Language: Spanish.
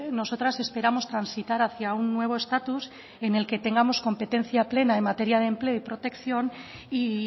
nosotras esperamos transitar hacia un nuevo estatus en el que tengamos competencia plena en materia de empleo y protección y